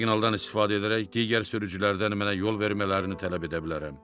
Siqnaldan istifadə edərək digər sürücülərdən mənə yol vermələrini tələb edə bilərəm.